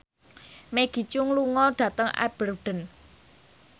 Maggie Cheung lunga dhateng Aberdeen